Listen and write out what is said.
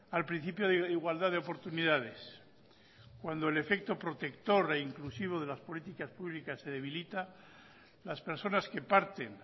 al principio de igualdad de oportunidades cuando el efecto protector e inclusivo de las políticas públicas se debilita las personas que parten